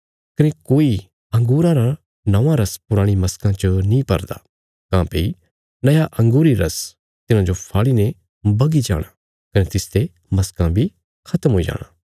कने कोई अंगूरां रा नौआं रस पुराणी मशकां च नीं भरदा काँह्भई नया अँगूरी रस तिन्हाजो फाड़ी ने बगी जाणा कने तिसते मशकां बी खत्म हुई जाणा